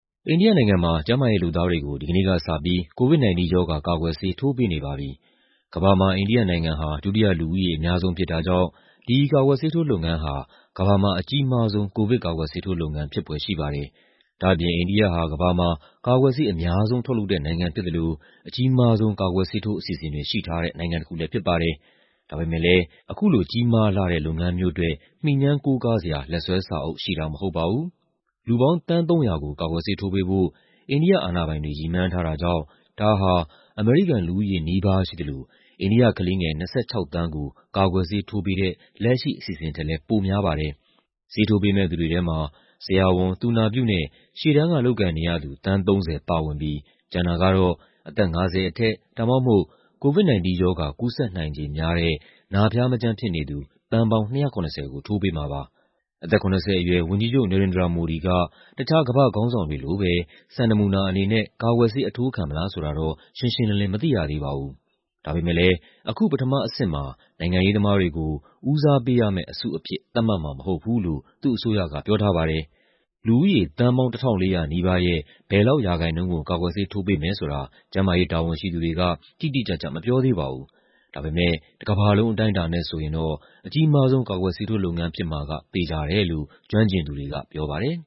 အိန္ဒိယနိုင်ငံမှာ ကျန်းမာရေးလုပ်သားတွေကို ဒီကနေ့ကစပြီး COVID-19 ရောဂါ ကာကွယ်ဆေး ထိုးပေးနေပါပြီ။ ကမ္ဘာမှာ အိန္ဒိယနိုင်ငံက ဒုတိယ လူဦးရေအများဆုံး ဖြစ်တာကြောင့် ဒီကာကွယ်ဆေးထိုးလုပ်ငန်းဟာ ကမ္ဘာမှာ အကြီးမားဆုံး ကိုဗစ်ကာကွယ်ဆေးထိုးလုပ်ငန်း ဖြစ်ဖွယ်ရှိပါတယ်။ ဒါ့အပြင် အိန္ဒိယဟာ ကမ္ဘာမှာ ကာကွယ်ဆေး အများဆုံးထုတ်လုပ်တဲ့နိုင်ငံ ဖြစ်သလို အကြီးမားဆုံး ကာကွယ်ဆေးထိုး အစီအစဉ်တွေ ရှိထားတဲ့ နိုင်ငံတခုလည်း ဖြစ်ပါတယ်။ ဒါပေမယ့်လည်း ဒီလို ကြီးမားလှတဲ့ လုပ်ငန်းမျိုးအတွက် မှီငြမ်းကိုးကားစရာ လက်စွဲစာအုပ်ရှိတာ မဟုတ်ပါဘူး။ လူပေါင်း သန်း ၃၀၀ ကို ကာကွယ်ဆေးထိုးပေးဖို့ အိန္ဒိယအာဏာပိုင်တွေ ရည်မှန်းထားတာကြောင့် ဒါဟာ အမေရိကန်လူဦးရေနီးပါး ရှိသလို အိန္ဒိယကလေးငယ် ၂၆ သန်းကို ကာကွယ်ဆေးထိုးပေးတဲ့ လက်ရှိအစီအစဉ်ထက်လည်း ပိုများပါတယ်။ ဆေးထိုးပေးမယ့်သူတွေထဲမှာ ဆရာဝန်၊ သူနာပြုနဲ့ ရှေ့တန်းကလုပ်ကိုင်နေရသူ သန်း ၃၀ ပါဝင်ပြီး ကျန်တာကတော့ အသက် ၅၀ အထက် ဒါမှမဟုတ် COVID-19 ရောဂါ ကူးစက်နိုင်ခြေများတဲ့ နာဖျားမကျန်းဖြစ်နေသူ သန်းပေါင်း ၂၇၀ ကို ထိုးပေးမှာပါ။ အသက် ၇၀ အရွယ် ဝန်ကြီးချုပ် Narendra Modi က တခြား ကမ္ဘာ့ခေါင်းဆောင်တွေလိုပဲ စံနမူနာအနေနဲ့ ကာကွယ်ဆေး အထိုးခံမလားဆိုတာ ရှင်းရှင်းလင်းလင်း မသိရသေးပါဘူး။ ဒါပေမယ့်လည်း အခု ပထမအဆင့်မှာ နိုင်ငံရေးသမားတွေကို ဦးစားပေးရမယ့်အစုအဖြစ် သတ်မှတ်မှာမဟုတ်ဘူးလို့ သူ့အစိုးရက ပြောထားပါတယ်။ လူဦးရေ သန်းပေါင်း ၁,၄၀၀ နီးပါးရဲ့ ဘယ်လောက်ရာခိုင်နှုန်းကို ကာကွယ်ဆေးထိုးပေးမယ်ဆိုတာ ကျန်းမာရေးတာဝန်ရှိသူတွေက တိတိကျကျ မပြောသေးပါဘူး။ ဒါပေမယ့် တကမ္ဘာလုံး အတိုင်းအတာနဲ့ဆိုရင် အကြီးမားဆုံး ကာကွယ်ဆေးထိုးလုပ်ငန်း ဖြစ်မှာကတော့ သေချာတယ်လို့ ကျွမ်းကျင်သူတွေက ပြောပါတယ်